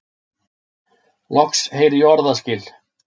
Loks heyri ég orðaskil.